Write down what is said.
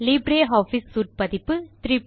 Libre office suite பதிப்பு 334